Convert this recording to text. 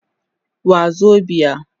Wazobia